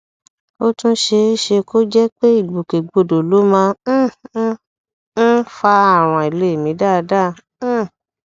ó tún ṣe é ṣe kó jẹ pé ìgbòkègbodò ló máa um ń um fa àrùn àìlèmí dáadáa um